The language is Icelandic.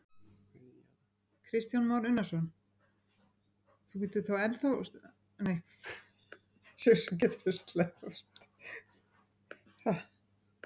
Kristján Már Unnarsson: Þú getur enn þá stundað handavinnu?